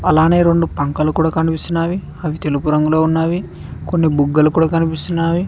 అలానే రెండు పంకలు కూడా కనిపిస్తున్నాయి అవి తెలుగు రంగులో ఉన్నవి కొన్ని బుగ్గలు కూడా కనిపిస్తున్నాయి.